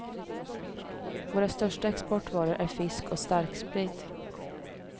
Våra största exportvaror är fisk och starksprit.